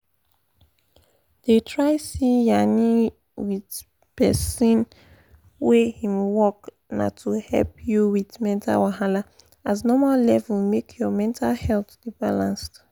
dey try see yanin with person wey him work na to help you with mental wahala as normal level make your mental health da balanced